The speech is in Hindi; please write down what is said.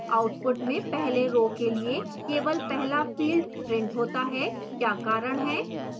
output में पहले row के लिए केवल पहला field printed होता है क्या कारण है